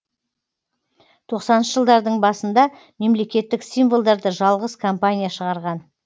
тоқсаныншы жылдардың басында мемлекеттік символдарды жалғыз компания шығарған